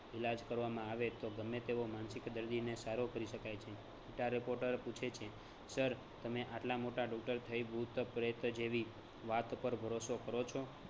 ઈલાજ કરવામા આવે તો ગમે તેવો માનસિક દર્દીને સારો કરી શકાય છે રીટા reporter પૂછે છે sir તમે આટલા મોટા doctor થઈ ભૂતપ્રેત જેવી વાત પર ભરોસો કરો છો